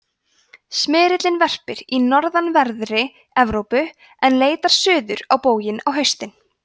smyrillinn verpir í norðanverðri evrópu en leitar suður á bóginn á haustin